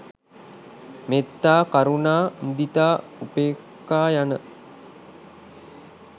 මෙත්තා, කරුණා, මුදිතා, උපෙක්‍ඛා, යන